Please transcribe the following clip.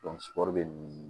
bɛ